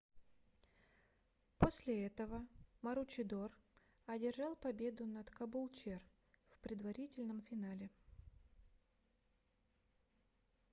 после этого маручидор одержал победу над кабулчер в предварительном финале